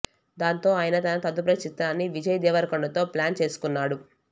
దాంతో ఆయన తన తదుపరి చిత్రాన్ని విజయ్ దేవరకొండతో ప్లాన్ చేసుకున్నాడు